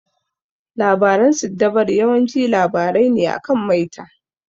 Labaran siddabaru yawanci labarai ne akan maita.